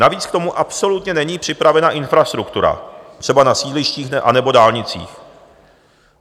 Navíc k tomu absolutně není připravena infrastruktura, třeba na sídlištích nebo dálnicích.